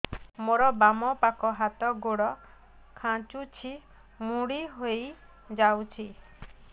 ମୋର ବାମ ପାଖ ହାତ ଗୋଡ ଖାଁଚୁଛି ମୁଡି ହେଇ ଯାଉଛି